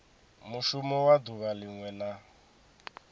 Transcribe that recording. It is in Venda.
mushumo wa duvha linwe na